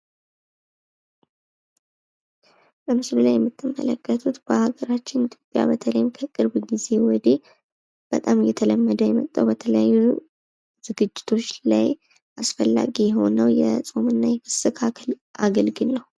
በምስሉ ላይ የምትመለከቱት በሀገራችን ኢትዮጵያ በተለይም ከቅርብ ጊዜ ወዲህ በጣም እየተለመደ የመጣው በተለያዩ ዝግጅቶች ላይ አስፈላጊ የሆነው የፆምና የፍስክ አገልግል ነው።